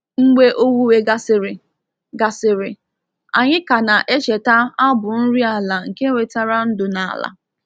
Mgbe owuwe gasịrị, gasịrị, anyị ka na-echeta abụ nri ala nke wetara ndụ n’ala.